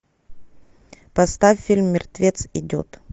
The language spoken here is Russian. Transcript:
поставь фильм мертвец идет